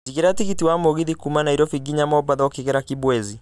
jigĩra tigiti wa mũgithi kuuma Nairobi nginya mombatha ukigera kibwezi